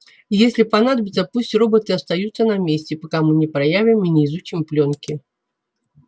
если понадобится пусть роботы остаются на месте пока мы не проявим и не изучим плёнки